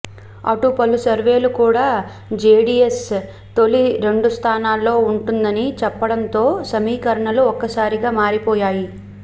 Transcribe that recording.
అటు పలు సర్వేలు కూడా జేడీఎస్ తొలి రెండు స్థానాల్లో ఉంటుందని చెప్పడంతో సమీకరణాలు ఒక్కసారిగా మారిపోయాయి